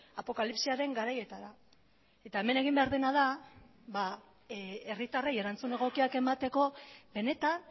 apokalipsiaren garaietara eta hemen egin behar dena da herritarrei erantzun egokiak emateko benetan